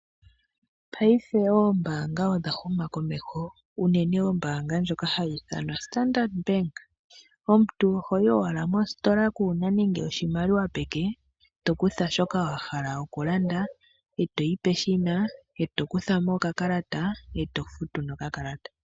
Paife oombaanga odha huma komeho, unene ombaanga ndjoka hayi ithanwa Standard bank omuntu ohoyi owala mositola kuna nande oshimaliwa peke to kutha shoka wa hala okulanda , toyi peshina e tokuthamo okakalata e tofutu nokakalata.